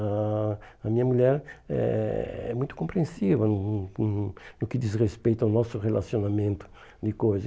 A a minha mulher é é muito compreensiva no no no no que diz respeito ao nosso relacionamento de coisas.